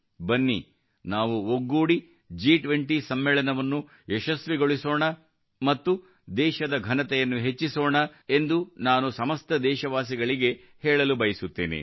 ಬನ್ನಿ ನಾವು ಒಗ್ಗೂಡಿ ಜಿ20 ಸಮ್ಮೇಳನವನ್ನು ಯಶಸ್ವಿಗೊಳಿಸೋಣ ಮತ್ತು ದೇಶದ ಘನತೆಯನ್ನು ಹೆಚ್ಚಿಸೋಣ ಎಂದು ನಾನು ಸಮಸ್ತ ದೇಶವಾಸಿಗಳಿಗೆ ಹೇಳಲು ಬಯಸುತ್ತೇನೆ